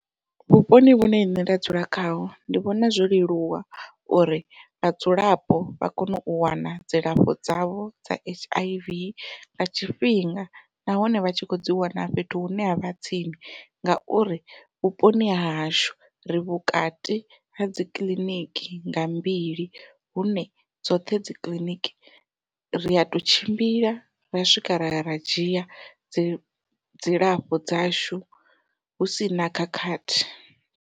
Vhuponi vhune nṋe nda dzula khaho ndi vhona zwo leluwa uri vhadzulapo vha kone u wana dzilafho dzavho dza H_I_V nga tshifhinga, nahone vha tshi kho dzi wana fhethu hune ha vha tsini ngauri vhuponi ha hashu ri vhukati hadzi kiḽiniki nga mbili hune dzoṱhe dzi kiḽiniki ria to tshimbila ra swika raya ra dzhia dzilafho dzashu hu sina khakhathi.